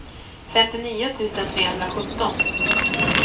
femtionio tusen trehundrasjutton